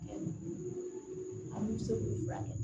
An min bɛ se k'u furakɛ